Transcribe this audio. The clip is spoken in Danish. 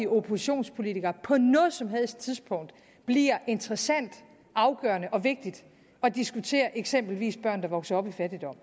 oppositionspolitikere på noget som helst tidspunkt bliver interessant afgørende og vigtigt at diskutere eksempelvis børn der vokser op i fattigdom